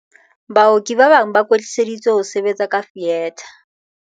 "Baoki ba bang ba kwetliseditswe ho sebetsa ka fietha."